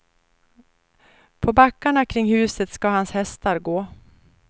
På backarna kring huset ska hans hästar gå.